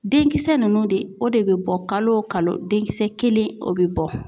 Denkisɛ ninnu de o de bɛ bɔ kalo o kalo denkisɛ kelen o bɛ bɔ.